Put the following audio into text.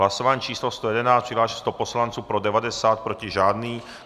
Hlasování číslo 111, přihlášeno 100 poslanců, pro 90, proti žádný.